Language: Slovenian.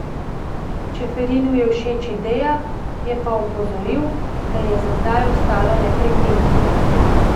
Čeferinu je všeč ideja, je pa opozoril, da je za zdaj ostalo le pri tem.